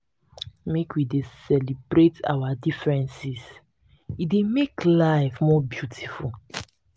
make we dey celebrate our differences e dey make life more beautiful.